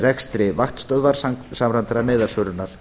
rekstri vaktstöðvar samræmdrar neyðarsvörunar